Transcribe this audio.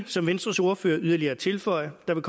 som venstres ordfører ikke yderligere at tilføje der vil